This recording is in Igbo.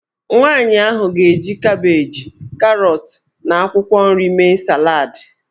Nwaanyị ahụ ga-eji kabeeji, karọt, na akwụkwọ nri mee salad.